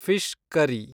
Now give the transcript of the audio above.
fish curry